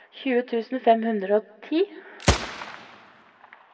tjue tusen fem hundre og ti